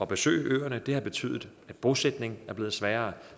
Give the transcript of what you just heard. besøge øerne det har betydet at bosætningen er blevet sværere